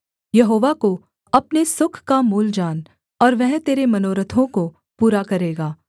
यहोवा को अपने सुख का मूल जान और वह तेरे मनोरथों को पूरा करेगा